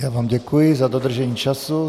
Já vám děkuji za dodržení času.